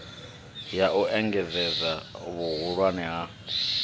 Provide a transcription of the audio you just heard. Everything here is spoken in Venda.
ya u engedzedza vhuhulwane ha